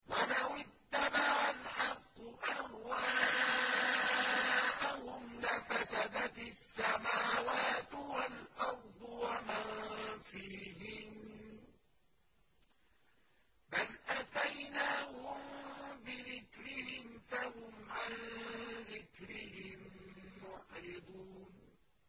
وَلَوِ اتَّبَعَ الْحَقُّ أَهْوَاءَهُمْ لَفَسَدَتِ السَّمَاوَاتُ وَالْأَرْضُ وَمَن فِيهِنَّ ۚ بَلْ أَتَيْنَاهُم بِذِكْرِهِمْ فَهُمْ عَن ذِكْرِهِم مُّعْرِضُونَ